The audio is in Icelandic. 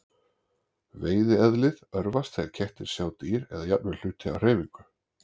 Veiðieðlið örvast þegar kettir sjá dýr eða jafnvel hluti á hreyfingu.